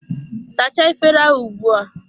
Sachaa efere ahụ ugbua!